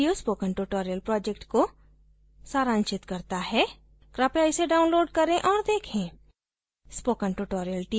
इस link पर उपलब्ध video spoken tutorial project को सारांशित करता है कृपया इसे download करें औऱ देखें